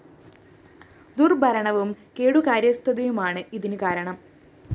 ദുര്‍ഭരണവും കെടുകാര്യസ്ഥതയുമാണ് ഇതിന് കാരണം